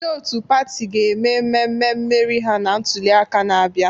Ndị otu pati ga-eme mmemme mmeri ha na ntuliaka na-abịa.